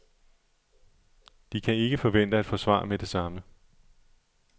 De kan ikke forvente at få svar med det samme.